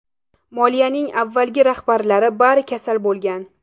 Moliyaning avvalgi rahbarlari bari kasal bo‘lgan.